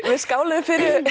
skáluðum